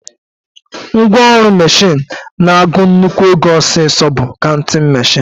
Ngwaọrụ mashin na-agụ nnukwu ego ọsịsọ bụ kauntịn mashin